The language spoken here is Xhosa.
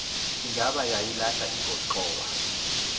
ingaba yayilahla ingxowa